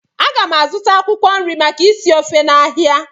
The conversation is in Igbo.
A ga m azụta akwụkwọ nri maka isi ofe n'ahịa